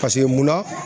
Paseke munna